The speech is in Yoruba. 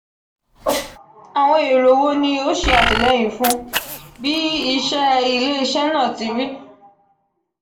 awọn ero wo ni o ṣe atilẹyin fun bi iṣẹ ile-iṣẹ naa ti ri?